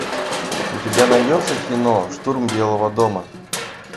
у тебя найдется кино штурм белого дома